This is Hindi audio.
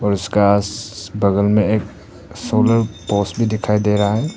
प्रकाश बगल में एक सोलर पोस्ट भी दिखाई दे रहा है।